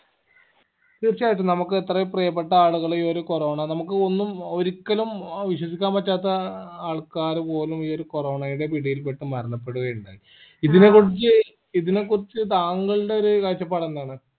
തീർച്ചയായിട്ടും നമ്മക്ക് എത്രയോ പ്രിയപ്പെട്ട ആളുകൾ ഈ ഒരു corona നമുക്ക് ഒന്നും ഒരിക്കലും വിശ്വസിക്കാൻ പറ്റാത്ത ആള്ക്കാര് പോലും ഈ ഒരു corona യുടെ പിടിയിൽ പെട്ട് മരണപ്പെടുക ഉണ്ടായി ഇതിനെകുറിച്ച് ഇതിനെ കുറിച്ച് താങ്കളുടെ ഒരു കാഴ്ചപ്പാട് എന്താണ്